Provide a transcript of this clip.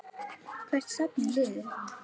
Hvert stefnir liðið?